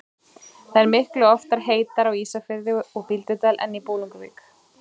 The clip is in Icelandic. Það er miklu oftar heitara á Ísafirði og Bíldudal en í Bolungarvík.